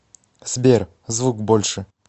сбер звук больше